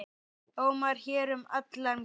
ómar hér um alla ganga.